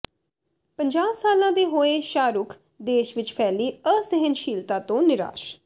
ਪੰਜਾਹ ਸਾਲਾਂ ਦੇ ਹੋਏ ਸ਼ਾਹਰੁਖ਼ ਦੇਸ਼ ਵਿੱਚ ਫੈਲੀ ਅਸਹਿਣਸ਼ੀਲਤਾ ਤੋਂ ਨਿਰਾਸ਼